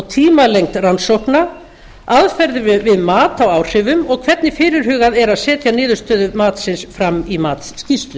tímalengd rannsókna aðferðir við mat á áhrifum og hvernig fyrirhugað er að setja niðurstöður matsins í matsskýrslu